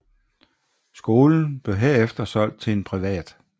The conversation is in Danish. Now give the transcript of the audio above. Skolen blev herefter solgt til en privat